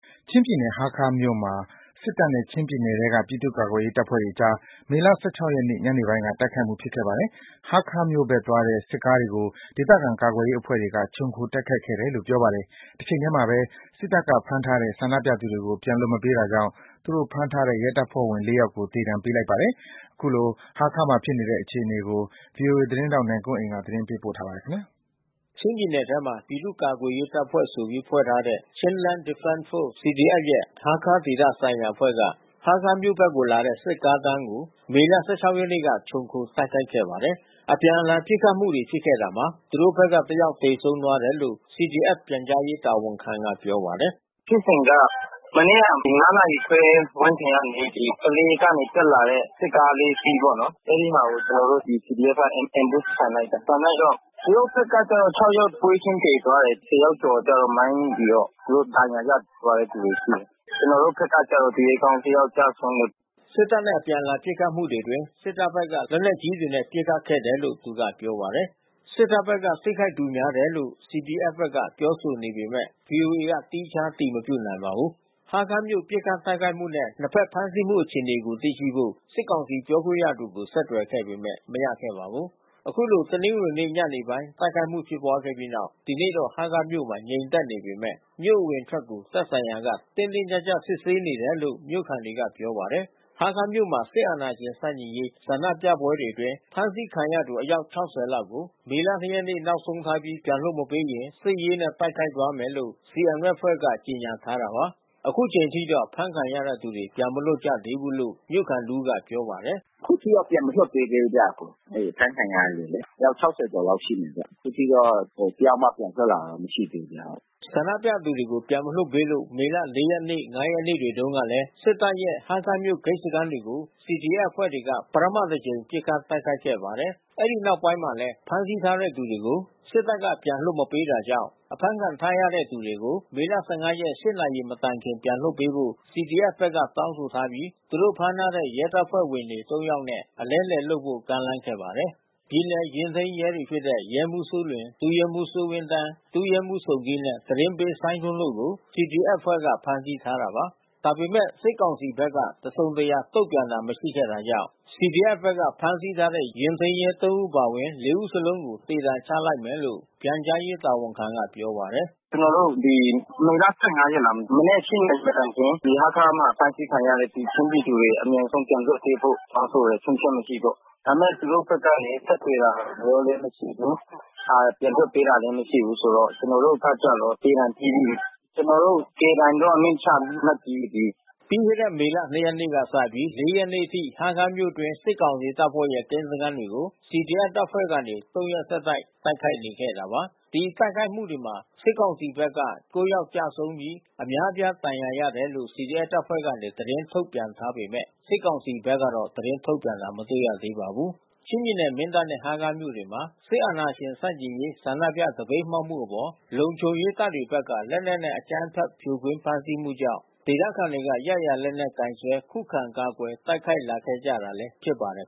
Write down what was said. ချင်းပြည်နယ် ဟားခါးမြို့မှာလည်း စစ်တပ်နဲ့ ချင်းပြည်နယ်ထဲက ပြည်သူ့ကာကွယ်ရေးတပ်ဖွဲ့တွေကြား မေလ ၁၆ ရက်နေ့ညနေပိုင်းက တိုက်ခိုက်မှု ဖြစ်ခဲ့ပါတယ်။ ဟားခါးမြို့ဘက်သွားတဲ့ စစ်ကားတွေကို ဒေသခံကာကွယ်ရေးအဖွဲ့တွေက ခြုံခိုတိုက်ခိုက်ခဲ့တယ်လို့ပြောပါတယ်။ တချိန်ထဲမှာပဲ စစ်တပ်က ဖမ်းထားတဲ့ ဆန္ဒပြသူတွေကို ပြန်လွှတ်မပေးတာကြောင့် သူတို့ဖမ်းထားတဲ့ ရဲတပ်ဖွဲ့ဝင် ၄ ယောက်ကို သေဒဏ်ပေးလိုက်ပါတယ်။ ခုလို ဟားခါးဘက်မှာဖြစ်နေတဲ့ အခြေအနေကို ဗွီအိုအေသတင်းထောက် ကိုနိုင်ကွန်းအိန်ကနေ သတင်းပေးပို့ထားပါတယ်။ ချင်းပြည်နယ်ထဲမှာ ပြည်သူ့ကာကွယ်ရေးတပ်ဖွဲ့ဆိုပြီး ဖွဲ့ထားတဲ့ Chinland Defense Force ရဲ့ ဟားခါးဒေသဆိုင်ရာ အဖွဲ့က ဟားခါးမြို့ဘက်လာတဲ့ စစ်ကားတန်းကို မေလ ၁၆ ရက်နေ့က ခြုံခိုတိုက်ခိုက်ခဲ့ပါတယ်။ အပြန်အလှန်ပစ်ခတ်မှုတွေ ဖြစ်ခဲ့တာမှာ သူတို့အဖွဲ့ဘက်က ၁ ယောက်သေဆုံးတယ်လို့ CDF ပြန်ကြားရေးတာဝန်ခံကပြောပါတယ်။ "ဖြစ်စဉ်က မနေ့က ၅ နာရီခွဲ ဝန်းကျင်ကနေ ကလေးကနေ တက်လာတဲ့ စစ်ကား ၄ စီးပေါ့နော်... အဲဒီမှာကို ကျနော်တို့ CDF က Ambush ဖန်လိုက်တာ။ ဖန်လိုက်တော့ သူတို့ဘက်ကတော့ ၆ ယောက်ပွဲချင်းပြီး သေသွားတယ်။ ၁၀ ယောက်ကျော်ကျတော့ မိုင်းမိပြီးတော့ သူတို့ ဒဏ်ရာရသွားတဲ့သူ ရှိတယ်။ ကျနော်တို့ဘက်ကတော့ သူရဲကောင်းတယောက်ကျဆုံးတယ်။" စစ်တပ်နဲ့ အပြန်အလှန်ပစ်ခတ်မှုတွေအတွင်း စစ်တပ်ဘက်က လက်နက်ကြီးတွေနဲ့ ပစ်ခတ်ခဲ့တယ်လို့ သူကပြောပါတယ်။ စစ်တပ်ဘက်က ထိခိုက်သူများတယ်လို့ CDF ဘက်ကပြောဆိုပေမဲ့ ဗွီအိုအေက သီးခြားအတည်မပြုနိုင်ပါဘူး။ ဟားခါးမြို့ပစ်ခတ်တိုက်ခိုက်မှုနဲ့ နှစ်ဖက်ဖမ်းဆီးမှု အခြေအနေကို သိရှိဖို့ စစ်ကောင်စီပြောခွင့်ရသူကို ဆက်သွယ်ခဲ့ပေမဲ့ မရခဲ့ပါဘူး။ ခုလိုတနင်္ဂနွေနေ့ ညနေပိုင်း တိုက်ခိုက်မှုဖြစ်ခဲ့ပြီးနောက် ဒီနေ့တော့ ဟားခါးမြို့မှာ ငြိမ်သက်နေပေမဲ့ မြို့အဝင်အထွက်ကို သက်ဆိုင်ရာက တင်းတင်းကြပ်ကြပ်စစ်ဆေးနေတယ်လို့ မြို့ခံတွေက ပြောပါတယ်။ ဟားခါးမြို့မှာ စစ်အာဏာရှင်ဆန့်ကျင်ရေး ဆန္ဒပြပွဲတွေအတွင်း ဖမ်းဆီးခံထားရသူအယောက် ၆၀ လောက်ကို မေလ ၂ ရက်နေ့ နောက်ဆုံးထားပြီး ပြန်လွှတ် မပေးရင် စစ်ရေးနဲ့ တိုက်ခိုက်သွားမယ်လို့ CDF အဖွဲ့က ကြေညာထားတာပါ။ ခုချိန်ထိတော့ အဖမ်းခံထားရသူတွေ ပြန်မလွတ်လာကြသေးဘူးလို့ မြို့ခံတဦးကပြောပါတယ်။ "အခုထိတော့ ပြန်မလွှတ်ပေးသေးဘူးဗျ။ အဲဒီအဖမ်းခံရတဲ့သူတွေ။ အယောက် ၆၀ ကျော်လောက်ရှိတယ်။ အခုထိတော့ တယောက်မှပြန်လွတ်လာတာ မရှိဘူး။" ဆန္ဒပြသူတွေက ပြန်လွှတ်မပေးလို့ မေလ ၄ ရက်၊ ၅ ရက်နေ့တွေတုန်းကလည်း စစ်တပ်ရဲ့ ဟားခါးမြို့ ဂိတ်စခန်းတွေကို CDF အဖွဲ့ တွေက ပထမတကြိမ် ပစ်ခတ်တိုက်ခိုက်ခဲ့ပါတယ်။ အဲဒီနောက်ပိုင်းမှာလည်း ဖမ်းဆီးထားသူတွေကို စစ်တပ်က ပြန်လွှတ်မပေးတာကြောင့် ဖမ်းခံထားရသူတွေကို မေလ ၁၅ ရက် ၈ နာရီမတိုင်ခင် ပြန်လွှတ်ပေးဖို့ CDF ဘက်က တောင်းဆိုပြီး သူတို့ဖမ်းထားတဲ့ ရဲတပ်ဖွဲ့ဝင်တွေ ၃ ယောက်နဲ့ အလဲအလှယ်လုပ်ဖို့ ကမ်းလှမ်းခဲ့ပါတယ်။ ပြည်နယ်ယာဉ်ထိန်းရဲတွေဖြစ်တဲ့ ရဲမှူး စိုးလွင်၊ ဒုရဲမှူး စိုးဝင်းသန်း၊ ဒုရဲမှူးဆုန်းကီးနဲ့ သတင်းပေး စိုင်းထွန်းတို့ကို CDF အဖွဲ့ဘက်က ဖမ်းဆီးထားတာပါ ဒါပေမဲ့ စစ်ကောင်စီဘက်က တစုံတရာ တုံ့ပြန်တာ မရှိခဲ့တာကြောင့် CDF ဘက်က ဖမ်းဆီးထားတဲ့ ယာဉ်ထိန်းရဲ ၃ ဦးအပါဝင် ၄ ဦးလုံးကို သေဒဏ်ချလိုက်မယ်လို့ ပြန်ကြားရေးတာဝန်ခံကပြောပါတယ်။ "ကျနော်တို့ မေလ ၁၅ ရက် မနက် ၈ နာရီမတိုင်ခင် ဒီဟားခါးမှာ ဖမ်းဆီးခံရတဲ့ ချင်းပြည်သူတွေ အမြန်ဆုံးပြန်လွှတ်ပေးဖို့ တောင်းဆိုတယ်။ ချို့ယွင်းချက်မရှိပေါ့။ ဒါပေမဲ့ သူတို့ဘက်ကနေ ဆက်သွယ်လာတာလည်း မရှိဘူး။ ပြန်လွှတ်ပေးတာလည်း မရှိဘူးဆိုတော့ ကျနော်တို့ဘက်ကျတော့ သေဒဏ်ပေးပြီ။ ကျနော်တို့ သေဒဏ်တော့ အမိန့်ချလိုက်ပြီးပြီ။ ဒီ Local Commander ထဲမှာ ရှိတယ်။" ပြီးခဲ့တဲ့ မေလ ၂ ရက်နေ့ကနေ စပြီး ၄ ရက်နေ့အထိ ဟားခါးမြို့အတွင်း စစ်ကောင်စီတပ်ဖွဲ့ရဲ့ကင်းစခန်းတွေကို CDF တပ်ဖွဲ့တွေကနေ ၃ ရက်ဆက် တိုက်ခိုက်နေခဲ့တာပါ။ ဒီတိုက်ခိုက်မှုတွေမှာ စစ်ကောင်စီတပ်ဘက်က ၉ ယောက်ကျဆုံးပြီး အများပြားဒဏ်ရာရတယ်လို့ CDF တပ်ဖွဲ့ကနေ သတင်းထုတ်ပြန်ထားပေမဲ့ စစ်ကောင်စီဘက်ကတော့ သတင်းထုတ်ပြန်တာ မတွေ့ရသေးပါဘူး။ ချင်းပြည်နယ် မင်းတပ်နဲ့ ဟားခါးမြို့တွေမှာ စစ်အာဏာရှင်ဆန့်ကျင်ရေး ဆန္ဒပြသပိတ်မှောက်မှုအပေါ် လုံခြုံရေးတပ်တွေဘက်က လက်နက်နဲ့ အကြမ်းဖက်ဖြိုခွင်းဖမ်းဆီးမှုကြောင့် ဒေသခံတွေက ရရာလက်နက်ကိုင်စွဲ ခုခံ ကာကွယ် တိုက်ခိုက်လာခဲ့ကြတာလည်း ဖြစ်ပါတယ်